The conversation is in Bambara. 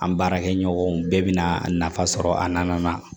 An baarakɛɲɔgɔnw bɛɛ bɛna a nafa sɔrɔ a na